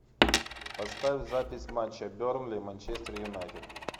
поставь запись матча бернли манчестер юнайтед